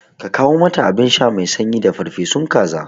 Ka kawo mata abinsha mai sanyi da farfesu kaza